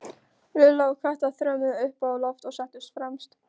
Lilla og Kata þrömmuðu upp á loft og settust fremst.